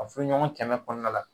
A furuɲɔgɔn kɛmɛ kɔnɔna la.